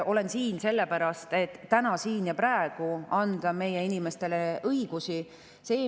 Olen siin sellepärast, et täna, siin ja praegu anda meie inimestele õigusi.